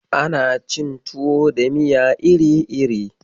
Ana cin tuwa da miya iri-iri.